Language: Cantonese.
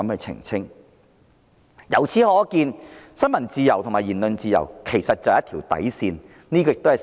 由此可見，新聞自由和言論自由是一條底線。